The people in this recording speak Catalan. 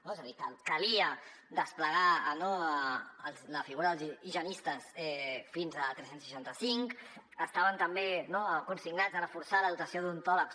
és a dir que calia desplegar la figura dels higienistes fins a tres cents i seixanta cinc estaven també consignats a reforçar la dotació d’odontòlegs